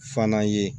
Fana ye